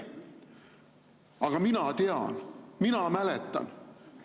Aga mina tean, mina mäletan.